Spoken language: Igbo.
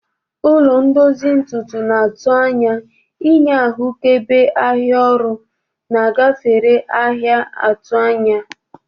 Ụlọ ndozi ntutu na atu anya inye ahụkebe ahịa ọrụ na gafere ahịa 'atụ anya.